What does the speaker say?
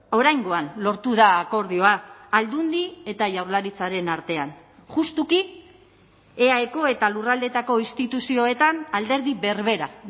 oraingoan lortu da akordioa aldundi eta jaurlaritzaren artean justuki eaeko eta lurraldeetako instituzioetan alderdi berbera